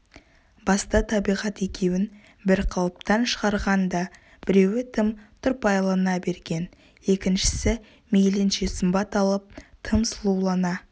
баста табиғат екеуін бір қалыптан шығарған да біреуі тым тұрпайылана берген екіншісі мейлінше сымбат алып тым сұлулана